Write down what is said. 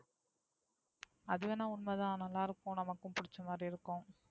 அதுவேணா உண்மைதான் நல்ல இருக்கும். நமக்கு பிடிச்ச மாதிரி இருக்கும்.